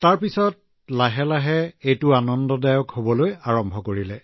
তাৰ পিছত ঠিক তেনেকৈয়ে লাহে লাহে এতিয়া ভাল লাগিবলৈ ধৰিলে